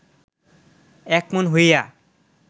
একমন হইয়া